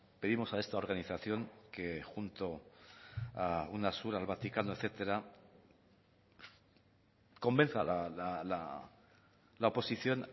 pedimos a esta organización que junto a una sur al vaticano etcétera convenza a la oposición